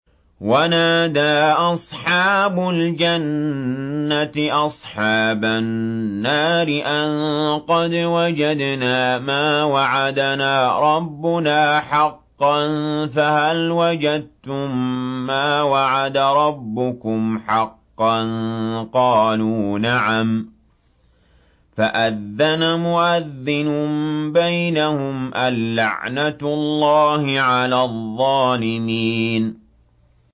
وَنَادَىٰ أَصْحَابُ الْجَنَّةِ أَصْحَابَ النَّارِ أَن قَدْ وَجَدْنَا مَا وَعَدَنَا رَبُّنَا حَقًّا فَهَلْ وَجَدتُّم مَّا وَعَدَ رَبُّكُمْ حَقًّا ۖ قَالُوا نَعَمْ ۚ فَأَذَّنَ مُؤَذِّنٌ بَيْنَهُمْ أَن لَّعْنَةُ اللَّهِ عَلَى الظَّالِمِينَ